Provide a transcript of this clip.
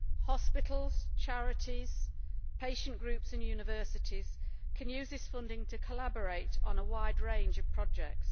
Hospitals, charities, patient groups and universities can use this funding to collaborate on a wide range of projects.